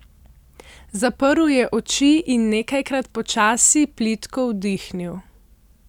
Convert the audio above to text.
Zaprl je oči in nekajkrat počasi, plitko vdihnil.